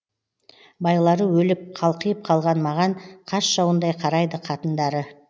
байлары өліп қалқиып қалған маған қас жауындай қарайды қатындары